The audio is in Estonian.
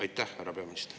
Aitäh!